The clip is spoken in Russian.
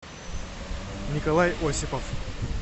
николай осипов